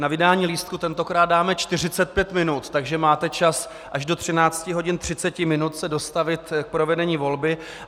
Na vydání lístků tentokrát dáme 45 minut, takže máme čas až do 13.30 hodin se dostavit k provedení volby.